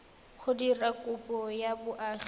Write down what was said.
go dira kopo ya boagi